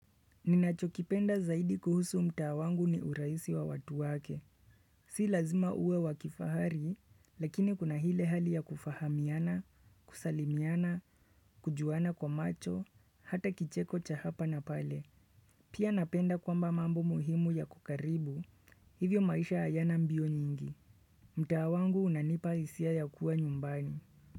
Ninachokipenda zaidi kuhusu mta wangu ni uraisi wa watu wake. Si lazima uwe wakifahari, lakini kuna ile hali ya kufahamiana, kusalimiana, kujuana kwa macho, hata kicheko cha hapa na pale. Pia napenda kwamba mambo muhimu ya kukaribu, hivyo maisha hayana mbio nyingi. Mta wangu unanipa hisia ya kuwa nyumbani.